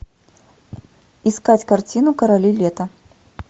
искать картину короли лета